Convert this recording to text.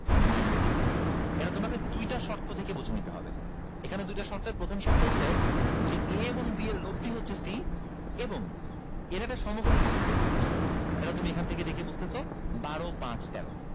ninty degree এটা তোমাকে দুইটা শর্ত থেকে বুঝে নিতে হবে এখানে দুইটা শর্তের প্রথম শর্ত হচ্ছে যে a এবং b এর লব্দি হচ্ছে c এবং এরা একটা সমকোণী ত্রিভুজ গঠন করছে এটা তুমি এখান থেকে দেখেই বুঝতেছো বারো পাঁচ তেরো